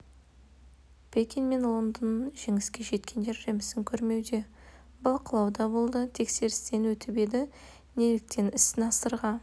пекин мен лондон жеңіске жеткендер жемісін көрмеуде бақылау да болды тексерістен өтіп еді неліктен іс насырға